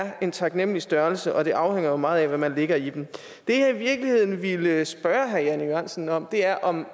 er en taknemlig størrelse og at det afhænger meget af hvad man lægger i dem det jeg i virkeligheden ville spørge herre jan e jørgensen om er om